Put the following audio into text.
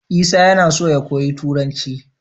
Isa yAna so ya koyi turanci